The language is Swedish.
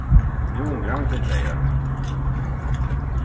Nu ångrar han sig, säger han.